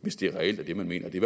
hvis det reelt er det man mener det